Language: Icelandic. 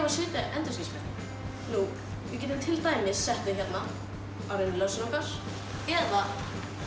að setja endurskinsmerkin nú við getum til dæmis sett þau hérna á rennilásinn okkar eða